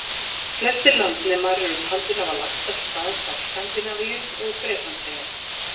Flestir landnemar eru taldir hafa lagt af stað frá Skandinavíu og Bretlandseyjum.